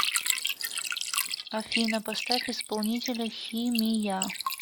афина поставь исполнителя хи ми я